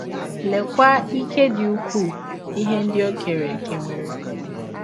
Leekwa ike dị ụkwụụ ihe ndị ọ kere eke nwere!